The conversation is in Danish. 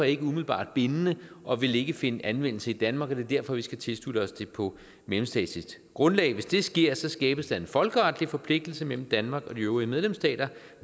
ikke umiddelbart bindende og vil ikke finde anvendelse i danmark og det er derfor vi skal tilslutte os det på mellemstatsligt grundlag hvis det sker skabes der en folkeretlig forpligtelse mellem danmark og de øvrige medlemsstater